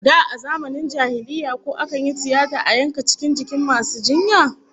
Da a zamanin jahiliyya, ko akan yi tiyata a yanka cikin jikin masu jinya?